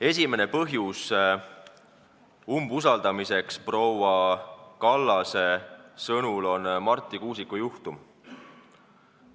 Esimene põhjus umbusaldamiseks on proua Kallase sõnul Marti Kuusiku juhtum.